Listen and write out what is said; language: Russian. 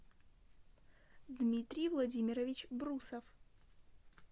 дмитрий владимирович брусов